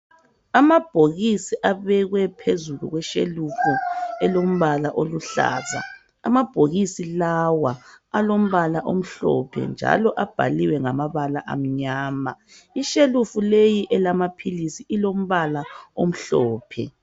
Amabhokisi abekwe phezulu kweshelufu elombala oluhlaza. Amabhokisi lawa alombala omhlophe njalo abhaliwe ngamabala amnyama. Ishelufu leyi elamaphilisi ilombala omhlophe.